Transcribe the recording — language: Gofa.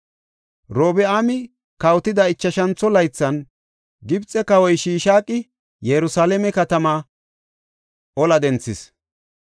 Robi7aami kawotida ichashantho laythan Gibxe kawoy Shishaaqi Yerusalaame katamaa bola ola denthis.